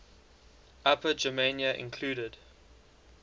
upper germania included